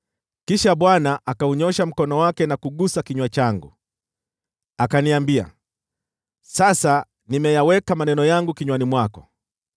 Kisha Bwana akaunyoosha mkono wake na kugusa kinywa changu, akaniambia, “Sasa nimeyaweka maneno yangu kinywani mwako.